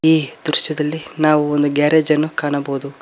ಈ ದೃಶ್ಯದಲ್ಲಿ ನಾವು ಒಂದು ಗ್ಯಾರೇಜ್ ನ್ನು ಕಾಣಬಹುದು.